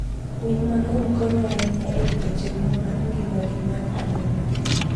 Winy mang'eny konyo ahinya e rito chenro mar ngima mar aluora gi.